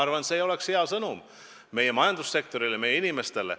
Ma arvan, see ei oleks olnud hea sõnum meie majandussektorile, meie inimestele.